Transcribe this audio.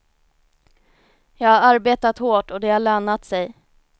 Jag har arbetat hårt och det har lönat sig.